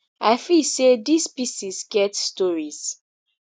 i feel say dis pieces get stories